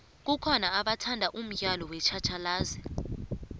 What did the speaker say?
kukhona abathanda umdlalo wetjhatjhalazi